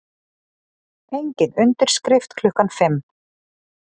Engin undirskrift klukkan fimm